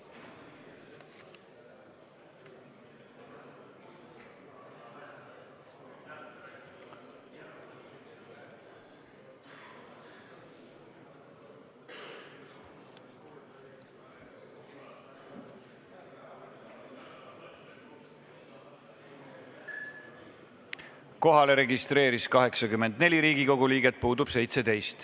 Kohaloleku kontroll Kohale registreerus 84 Riigikogu liiget, puudub 17 liiget.